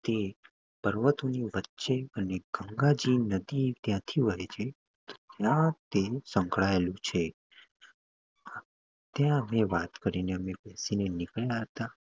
તે પર્વતોની વચ્ચે અને ગંગાજી નદી ત્યાં થી વળે છે ત્યાં તે સંકળાયેલું છે. ત્યાં અમે વાત કરીને અમે થી નીકળ્યા હતા.